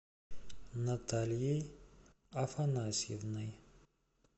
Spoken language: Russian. натальей афанасьевной